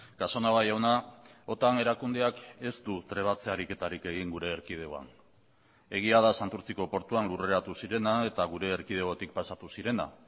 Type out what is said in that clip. casanova jauna otan erakundeak ez du trebatze ariketarik egin gure erkidegoan egia da santurtziko portuan lurreratu zirena eta gure erkidegotik pasatu zirena